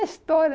É história.